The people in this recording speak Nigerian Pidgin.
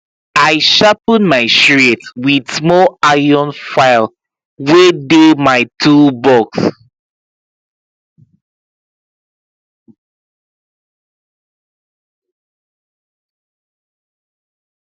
i sharpen my shears with small iron file wey dey my toolbox